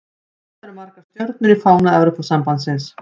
Hvað eru margar stjörnur í fána Evrópusambandsins?